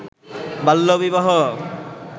বাল্যবিবাহ